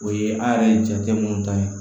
O ye an yɛrɛ ye jate minnu ta ye